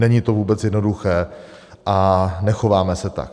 Není to vůbec jednoduché a nechováme se tak.